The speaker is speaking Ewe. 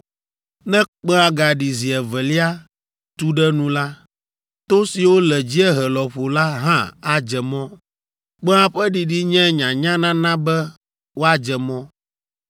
Ne kpẽa gaɖi zi evelia tu ɖe nu la, to siwo le dziehe lɔƒo la hã adze mɔ. Kpẽa ƒe ɖiɖi nye nyanyanana be woadze mɔ.